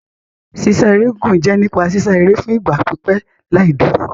Sísá eré gígùn jẹ́ nípa sísá eré fún ìgbà pípẹ́ láì dúró.